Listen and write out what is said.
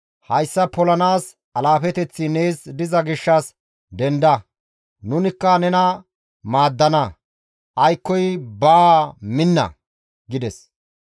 Hayssa polanaas alaafeteththi nees diza gishshas denda; nunikka nena maaddana; aykkoy baa minna!» gides.